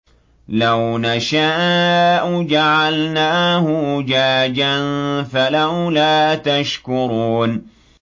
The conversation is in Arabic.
لَوْ نَشَاءُ جَعَلْنَاهُ أُجَاجًا فَلَوْلَا تَشْكُرُونَ